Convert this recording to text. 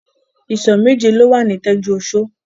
Ìsọ̀ méje ló wà ní Tẹ́júoṣó.